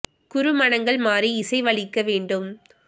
குறுமனங்கள் மாறிஇசை வளிக்க வேண்டும்